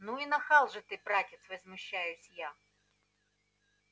ну и нахал же ты братец возмущаюсь я